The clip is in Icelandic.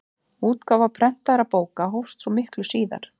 Útgáfa prentaðra bóka hófst svo miklu síðar.